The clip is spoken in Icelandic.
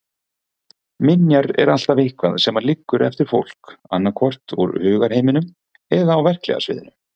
Minjar er alltaf eitthvað sem liggur eftir fólk, annaðhvort úr hugarheiminum eða á verklega sviðinu.